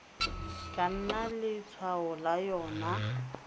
ka nna letshwao la yona